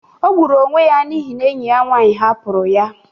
O gburu onwe ya n'ihi na enyi ya nwanyị hapụrụ ya.